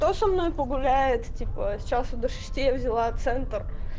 кто со мной погуляет типа с часу до шести я взяла центр